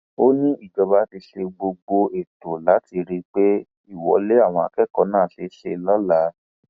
ó ní ìjọba ti ṣe gbogbo ètò láti rí i pé ìwọlé àwọn akẹkọọ náà ṣeé ṣe lọla